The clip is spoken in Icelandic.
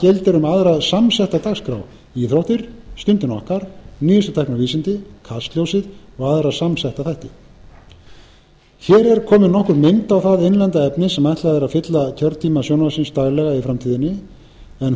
gildir um aðra samsetta dagskrá íþróttir stundina okkar nýjustu tækni og vísindi kastljósið og aðra samsetta þætti hér er komin nokkur mynd á það innlenda efni sem ætlað er að fylla kjörtíma sjónvarpsins daglega í framtíðinni en